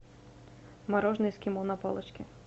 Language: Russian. мороженое эскимо на палочке